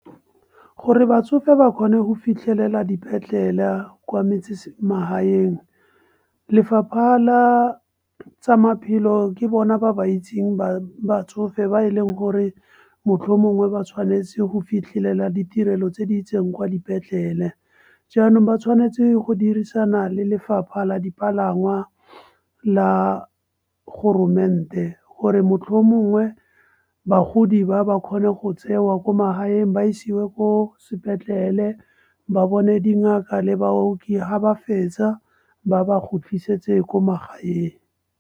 Gore batsofe ba kgone go fitlhelela dipetlele kwa magaeng. Lefapha la tsa maphelo ke bona ba ba itseng batsofe ba e leng gore mohlomongwe ba tshwanetse go fitlhelela ditirelo tse di itseng kwa dipetlela. Jaanong ba tshwanetse go dirisana le lefapha la dipalangwa la gore motlhomongwe bagodi ba ba kgone go tsewa ko magaeng ba isiwe ko sepetlele ba bone dingaka le baoki ga ba fetsa ba ba khutlisetse ko magaeng.